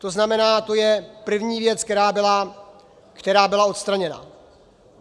To znamená, to je první věc, která byla odstraněna.